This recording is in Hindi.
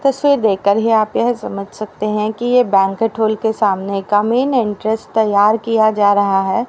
तस्वीर देख कर ही आप यह समझ सकते हैं कि ये बैंक्विट हॉल के सामने का मेन एंट्रेंस तैयार किया जा रहा है।